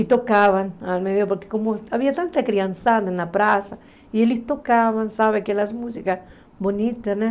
E tocavam, porque havia tanta criançada na praça, e eles tocavam aquelas músicas bonitas.